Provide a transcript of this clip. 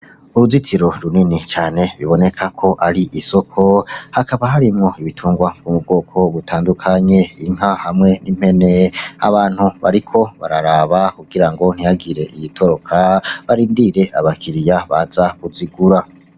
Uruzitiro runini cane biboneka ko ari isoko hakaba harimwo ibitungwa ku mu bwoko butandukanye inka hamwe n'impene abantu bariko bararaba kugira ngo ntihagire iyitoroka barindire abakiriya baza kuzigura.